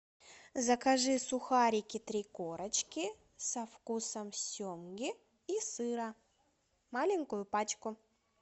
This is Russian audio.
закажи сухарики три корочки со вкусом семги и сыра маленькую пачку